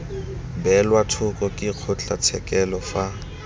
beelwa thoko ke kgotlatshekelo fa